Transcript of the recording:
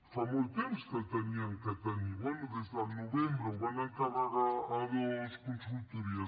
fa molt temps que l’havien de tenir bé des del novembre el van encarregar a dues consultories